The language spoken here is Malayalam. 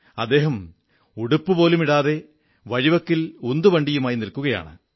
അദ്ദേഹം ഉടുപ്പുപോലുമിടാതെ വഴിവക്കിൽ ഉന്തുവണ്ടിയുമായി നിൽക്കയാണ്